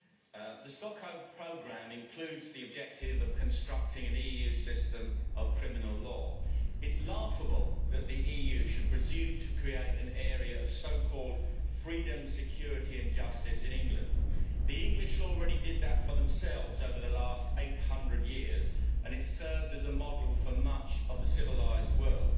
Madam President, the Stockholm Programme includes the objective of constructing an EU system of criminal law. It is laughable that the EU should presume to create an area of so called freedom, security and justice in England. The English already did that for themselves over the last 800 years and it served as a model for much of the civilised world.